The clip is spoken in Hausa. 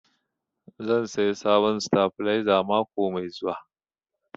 Zan saya sabon sitabilizer mako mai zuwa